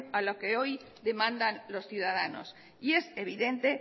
a lo que hoy demandan los ciudadanos y es evidente